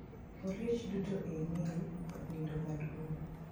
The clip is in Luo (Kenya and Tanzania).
Oliech duto e mail od nindo maduong